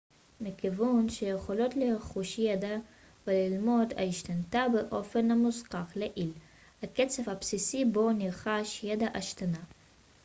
מכיוון שהיכולות לרכוש ידע וללמוד השתנתה באופן המוזכר לעיל הקצב הבסיסי בו נרכש ידע השתנה